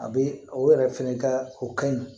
A bɛ o yɛrɛ fɛnɛ ka o ka ɲi